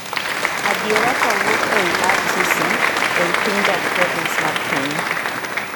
Adiera kawuok ei RTC ei pinjab province mar piny